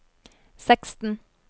seksten